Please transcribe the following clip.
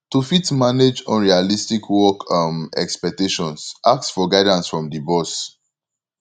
to fit manage unrealistic work um expectations ask for guidance from di boss